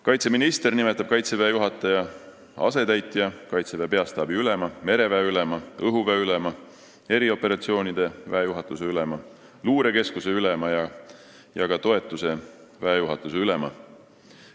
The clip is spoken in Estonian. Kaitseminister nimetab Kaitseväe juhataja asetäitja, Kaitseväe peastaabi ülema, mereväe ülema, õhuväe ülema, erioperatsioonide väejuhatuse ülema, luurekeskuse ülema ja ka toetuse väejuhatuse ülema.